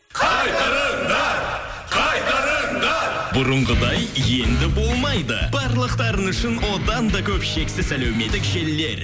қайтарыңдар қайтарыңдар бұрынғыдай енді болмайды барлықтарыңыз үшін одан да көп шексіз әлеуметтік желілер